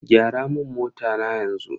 Gyara mun mota na yanzu.